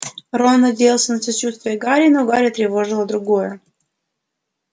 рон надеялся на сочувствие гарри но гарри тревожило другое